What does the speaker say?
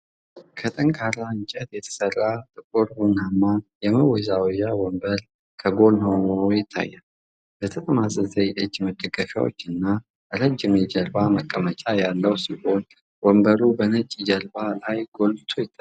ከጠንካራ እንጨት የተሰራ ጥቁር ቡናማ የመወዛወዣ ወንበር ከጎን ሆኖ ይታያል። የተጠማዘዘ የእጅ መደገፊያዎችና ረጅም የጀርባ መቀመጫ ያለው ሲሆን፤ ወንበሩ በነጭ ጀርባ ላይ ጎልቶ ይታያል።